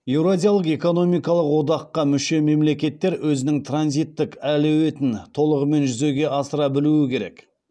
еуразиялық экономикалық одаққа мүше мемлекеттер өзінің транзиттік әлеуетін толығымен жүзеге асыра білуі керек